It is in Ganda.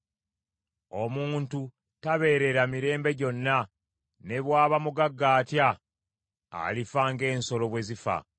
Omuntu tabeerera mirembe gyonna, ne bw’aba mugagga atya, alifa ng’ensolo bwe zifa.